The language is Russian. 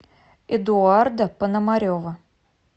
эдуарда пономарева